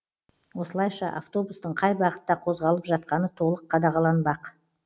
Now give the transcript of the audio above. осылайша автобустың қай бағытта қозғалып жатқаны толық қадағаланбақ